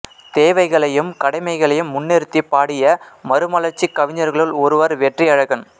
தேவைகளையும் கடமைகளையும் முன்னிறுத்திப் பாடிய மறுமலர்ச்சிக் கவிஞர்களுள் ஒருவர் வெற்றியழகன்